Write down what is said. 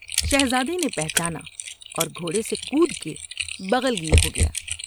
شہزادے نے پہچانا اور گھوڑے سے کود کے بغل گیر ہو گیا ۔